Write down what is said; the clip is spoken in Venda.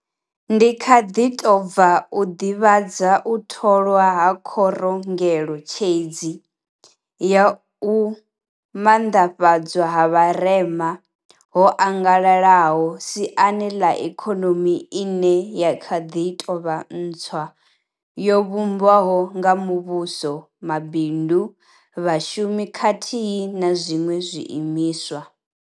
Ndi kha ḓi tou bva u ḓivhadza u tholwa ha Khorongele tshedzi ya U Maanḓa fhadzwa ha Vharema ho Angalalaho siani ḽa Ikonomi ine ya kha ḓi tou vha ntswa yo vhumbwaho nga vha muvhuso, mabindu, vhashumi khathihi na zwiṅwe zwiimiswa.